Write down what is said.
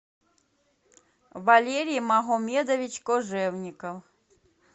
валерий магомедович кожевников